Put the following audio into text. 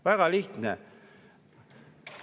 Väga lihtne.